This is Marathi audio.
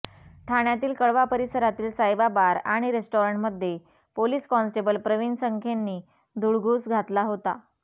ठाण्यातील कळवा परिसरातील सायबा बार आणि रेस्टॉरंटमध्ये पोलिस कॉन्स्टेबल प्रवीण संखेंनी धुडगूस घातला होता